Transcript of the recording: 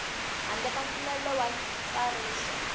handle ka mpfumelelo wa ntsariso